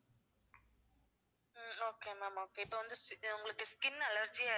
ஹம் okay ma'am okay இப்ப வந்து ஸ்~ உங்களுக்கு skin allergy